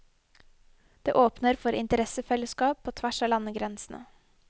Det åpner for interessefellesskap på tvers av landegrensene.